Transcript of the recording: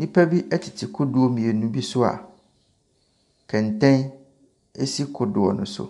Nnipa bi tete kodoɔ mmienu so a kɛntɛn esi kodoɔ no so.